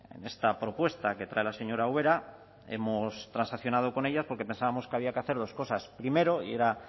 en esta propuesta que trae la señora ubera hemos transaccionado con ella porque pensábamos que había que hacer dos cosas primero